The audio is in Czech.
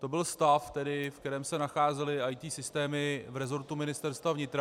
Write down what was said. To byl stav, v kterém se nacházely IT systémy v resortu Ministerstva vnitra.